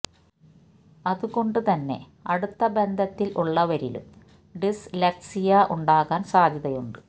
അതുകൊണ്ട് തന്നെ അടുത്ത ബന്ധത്തില് ഉള്ളവരിലും ഡിസ് ലെക്സിയ ഉണ്ടാകാന് സാധ്യതയുണ്ട്